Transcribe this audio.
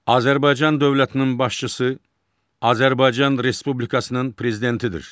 Azərbaycan dövlətinin başçısı Azərbaycan Respublikasının prezidentidir.